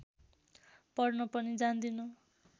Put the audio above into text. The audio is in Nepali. पढ्न पनि जान्दिन